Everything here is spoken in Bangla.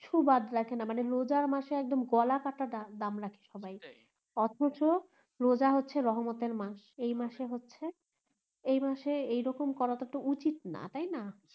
কিছু বাদ রাখেন মানে রোজা মাসে গলা কাটা দাম রাখে সবাই অথচ রোজা হচ্ছে রহমত এর মাস এই মাস এ হচ্ছে এই মাসে এরকম করাটা তো উচিত না তাইনা